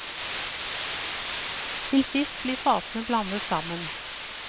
Til sist blir fatene blandet sammen.